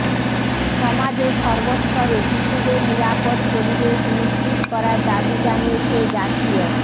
সমাজের সর্বস্তরে শিশুদের নিরাপদ পরিবেশ নিশ্চিত করার দাবি জানিয়েছে জাতীয়